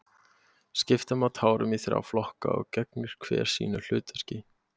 skipta má tárum í þrjá flokka og gegnir hver sínu hlutverki